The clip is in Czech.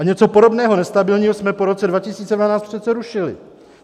A něco podobného nestabilního jsme po roce 2012 přece rušili.